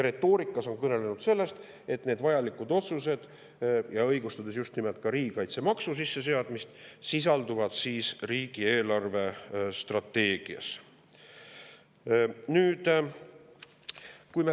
Retoorikas on nad kõnelenud sellest, et need vajalikud otsused – õigustades just nimelt ka riigikaitsemaksu sisseseadmist – sisalduvad riigi eelarvestrateegias.